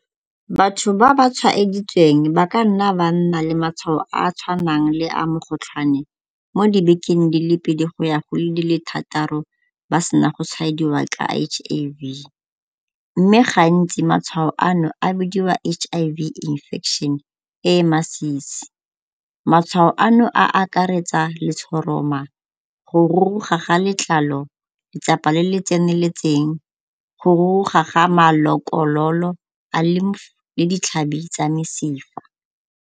Batho ba ba tshwaeditsweng ba ka nna ba nna le matshwao a a tshwanang le a mokgotlhwane mo dibekeng di le pedi go ya go di le thataro ba sena go tshwaediwa ka H_I_V mme gantsi matshwao ano a bidiwa H_I_V infection e e masisi. Matshwao ano a akaretsa letshoroma, go ruruga ga letlalo, letsapa le le tseneletseng, go ruruga ga malokololo a le le ditlhabi tsa mesifa.